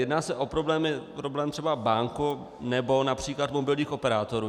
Jedná se o problém třeba bank nebo například mobilních operátorů.